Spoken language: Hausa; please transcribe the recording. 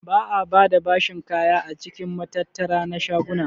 Ba'a bada bashin kaya a cikin matattara na shaguna.